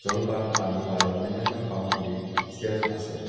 পানী আৰু অন্যান্য সামগ্ৰীৰ চেল্ফ আছে।